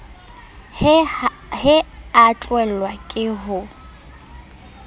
he a tlelwa ke ho